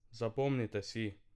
Zapomnite si!